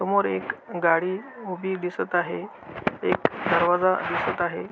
समोर एक गाडी उभी दिसत आहे एक दरवाजा दिसत आहे.